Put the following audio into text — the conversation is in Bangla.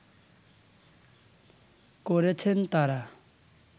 করেছেন তারা